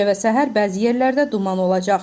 Gecə və səhər bəzi yerlərdə duman olacaq.